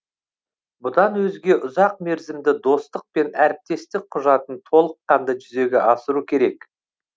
бұдан өзге ұзақмерзімді достық пен әріптестік құжатын толыққанды жүзеге асыру керек